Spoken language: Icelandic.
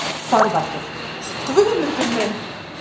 ÞORVALDUR: Guðmundur minn!